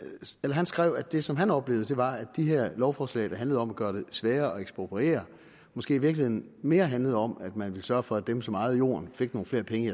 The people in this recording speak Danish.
han skrev at det som han oplevede var at de her lovforslag der handlede om at gøre det sværere at ekspropriere måske i virkeligheden mere handlede om at man ville sørge for at dem som ejede jorden fik nogle flere penge